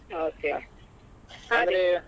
Okay